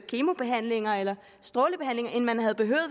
kemobehandlinger eller strålebehandlinger end man havde behøvet